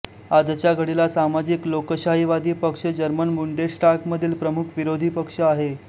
आजच्या घडीला सामाजिक लोकशाहीवादी पक्ष जर्मन बुंडेश्टागमधील प्रमुख विरोधी पक्ष आहे